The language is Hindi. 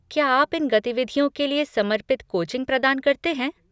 क्या आप इन गतिविधियों के लिए समर्पित कोचिंग प्रदान करते हैं?